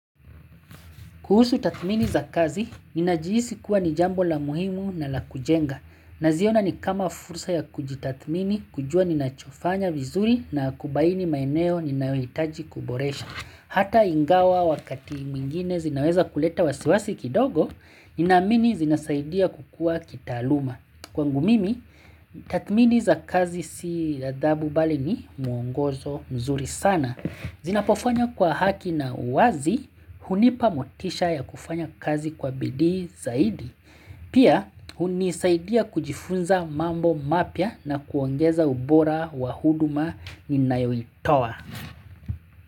Kuhusu tatmini za kazi, ninajihisi kuwa ni jambo la muhimu na la kujenga. Naziona ni kama fursa ya kujitathmini, kujua nina chofanya vizuri na kubaini maeneo ninayohitaji kuboresha. Hata ingawa wakati mingine zinaweza kuleta wasiwasi kidogo, ninaamini zinasaidia kukua kitaaluma. Kwangu mimi, tatmini za kazi si adhabu bali ni muongozo mzuri sana. Zinapofanya kwa haki na wazi hunipa motisha ya kufanya kazi kwa bidii zaidi. Pia hunisaidia kujifunza mambo mapia na kuongeza ubora wa huduma ni nayoitowa.